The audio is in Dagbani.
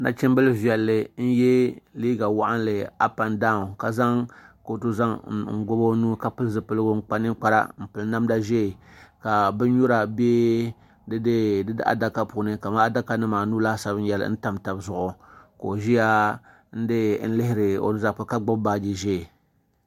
Nachim bili vɛlli n yiɛ liiga wɔɣinli ap en danw ka zaŋ kootu zaŋ gobi o nuu ka pili zipiligu n kpa ninkpara n piri namda zɛɛ ka bini nyura bɛ di dee di daadaka kamaa adaka nima anu ka o laasabu yɛli n tam taba zuɣu ka o zɛya n lihiri o letafe ka gbuni bini zɛɛ.